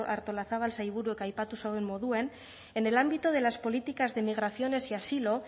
artolazabal sailburuak aipatu zeuen moduen en el ámbito de las políticas de migraciones y asilo